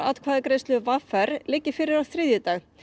atkvæðagreiðslu v r liggi fyrir á þriðjudag